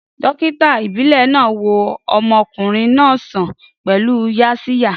Dókítà ìbílẹ̀ náà wo ọmọkùnrin náà sàn pẹ̀lú Yaxiya